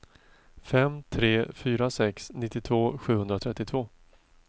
fem tre fyra sex nittiotvå sjuhundratrettiotvå